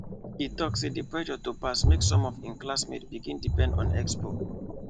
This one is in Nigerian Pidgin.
e talk say the pressure to pass make some of im classmates begin depend on expo